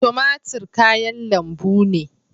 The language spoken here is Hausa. Tumatir kayan lambu ne